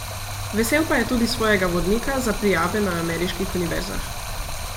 Vesel pa je tudi svojega vodnika za prijave na ameriških univerzah.